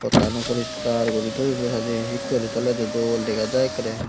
pottan ow poriskar gori toi done saday segay gori tolay doll dagajai.